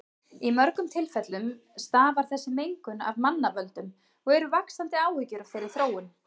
Í mörgum tilfellum stafar þessi mengun af mannavöldum og eru vaxandi áhyggjur af þeirri þróun.